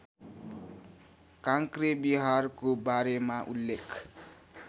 काँक्रेविहारको बारेमा उल्लेख